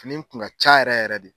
Fini in kun ka ca yɛrɛ yɛrɛ de.